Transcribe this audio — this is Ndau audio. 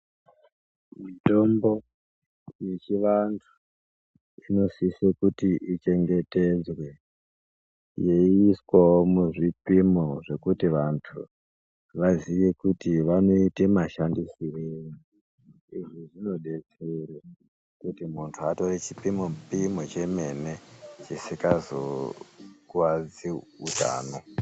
Mitombo ye chi vantu zvino sise kuti ichengetedzwe yeiswawo mu zvipimo zvekuti vantu vaziye kuti vanoita mashandisirei izvi zvino detsere kuti muntu atore chipimo pimo chemene chisingazo kwadzi utano.